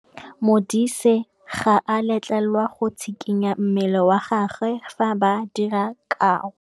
Modise ga a letlelelwa go tshikinya mmele wa gagwe fa ba dira karô.